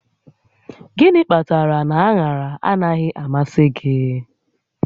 Gịnị kpatara na aṅaraanaghị amasị gị?